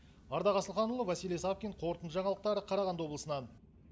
ардақ асылханұлы василий савкин қорытынды жаңалықтар қарағанды облысынан